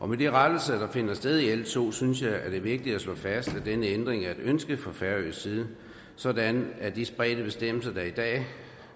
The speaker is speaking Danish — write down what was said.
med de rettelser der finder sted med l to synes er vigtigt at slå fast at denne ændring er et ønske fra færøsk side sådan at de spredte bestemmelser der er i dag